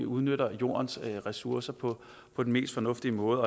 udnytter jordens ressourcer på på den mest fornuftige måde